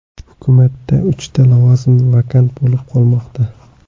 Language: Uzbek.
Hukumatda uchta lavozim vakant bo‘lib qolmoqda.